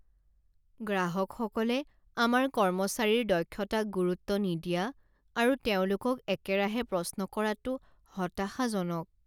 গ্ৰাহকসকলে আমাৰ কৰ্মচাৰীৰ দক্ষতাক গুৰুত্ব নিদিয়া আৰু তেওঁলোকক একেৰাহে প্ৰশ্ন কৰাটো হতাশাজনক।